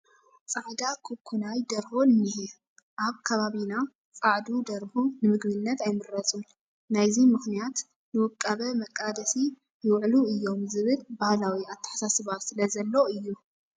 ፃዕዳ ኩኪናይ ደርሆ እኒሀ፡፡ ኣብ ከባቢና ፃዕዱ ደርሁ ንምግብነት ኣይምረፁን፡፡ ናይዚ ምኽንያት ንውቃበ መቓደሲ ይውዕሉ እዮም ዝብል ባህላዊ ኣተሓሳስባ ስለ ዘሎ እዩ፡፡